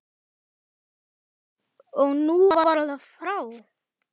Og nú var það frá.